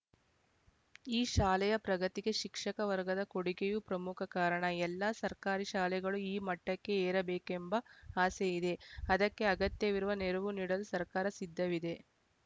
ಈ ಶಾಲೆಯ ಪ್ರಗತಿಗೆ ಶಿಕ್ಷಕ ವರ್ಗದ ಕೊಡುಗೆಯೂ ಪ್ರಮುಖ ಕಾರಣ ಎಲ್ಲ ಸರ್ಕಾರಿ ಶಾಲೆಗಳು ಈ ಮಟ್ಟಕ್ಕೆ ಏರಬೇಕೆಂಬ ಆಸೆಯಿದೆ ಅದಕ್ಕೆ ಅಗತ್ಯವಿರುವ ನೆರವು ನೀಡಲು ಸರ್ಕಾರ ಸಿದ್ಧವಿದೆ